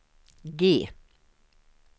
G